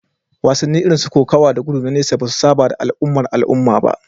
Wasanni irin su kokawa, kokawa da gudu na nesa ba su saba da al'ummar al'umma ba